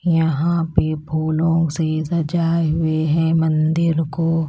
यहां पे फूलों से सजाए हुए हैं मंदिर को।